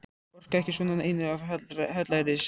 Orka ekki svona, einum of hallærislegt.